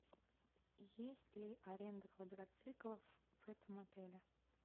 есть ли аренда квадроциклов в этом отеле